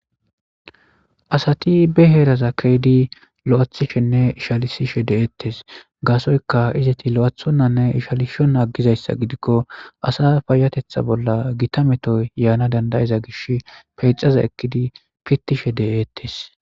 Asati be heeraza keedi loathishenne ishalisishe de'eettes gaasoyka izeti lo'athonnanne ishalishon aggizayssa gidikko asa payatetha bolla gita metoy yaana dandayiza gish peycaza ekkidi pittishe de'eettes.